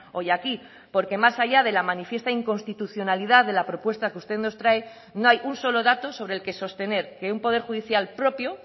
hoy aquí porque más allá de la manifiesta inconstitucionalidad de la propuesta que usted nos trae no hay un solo dato sobre el que sostener que un poder judicial propio